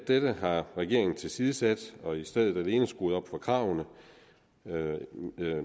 dette har regeringen tilsidesat og i stedet alene skruet op for kravene